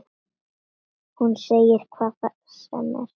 Hún segir hvað sem er.